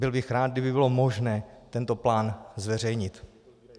Byl bych rád, kdyby bylo možné tento plán zveřejnit.